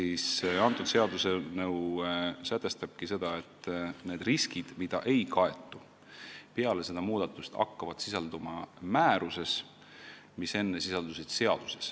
See seaduseelnõu sätestabki, et need riskid, mida ei kaeta ja mis enne sisaldusid seaduses, hakkavad peale seda muudatust sisalduma määruses.